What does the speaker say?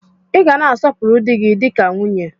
Ị ga na-asọpuru dị gi dịka nwunye!